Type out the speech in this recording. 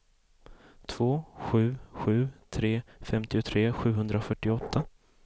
två sju sju tre femtiotre sjuhundrafyrtioåtta